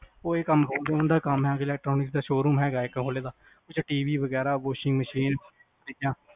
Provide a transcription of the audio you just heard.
ਓਹਨਾ ਦਾ ਕੰਮ ਹੈਗਾ electronics ਵਗੈਰਾ ਸ਼ੋਅਰੂਮ ਹੈਗਾ ਇਕ ਕਮਰੇ ਦਾ ਓਹਦੇ ਚ TV ਵਗੈਰਾ washing machine ਚੀਜ਼ਾਂ